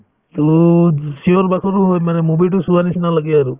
to চিঞৰ-বাখৰো হয় মানে movie তো চোৱাৰ নিচিনা লাগে আৰু